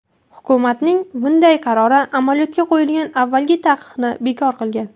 Hukumatning bunday qarori amaliyotga qo‘yilgan avvalgi taqiqni bekor qilgan.